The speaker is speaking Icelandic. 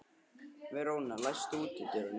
Veróna, læstu útidyrunum.